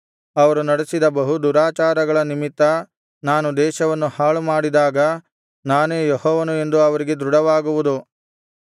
ಅವರು ನಡೆಸಿದ ಬಹು ದುರಾಚಾರಗಳ ನಿಮಿತ್ತ ನಾನು ದೇಶವನ್ನು ಹಾಳುಮಾಡಿದಾಗ ನಾನೇ ಯೆಹೋವನು ಎಂದು ಅವರಿಗೆ ದೃಢವಾಗುವುದು